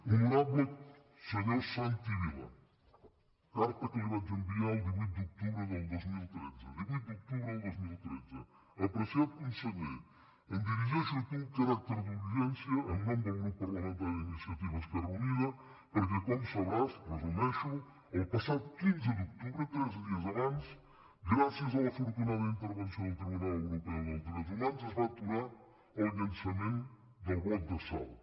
honorable senyor santi vila carta que li vaig enviar el divuit d’oc·tubre del dos mil tretze divuit d’octubre del dos mil tretze apreciat con·seller em dirigeixo a tu amb caràcter d’urgència en nom del grup parlamentari d’iniciativa · esquerra uni·da perquè com sabràs ho resumeixo el passat quinze d’octubre tres dies abans gràcies a l’afortunada in·tervenció del tribunal europeo dels drets humans es va aturar el llançament del bloc de salt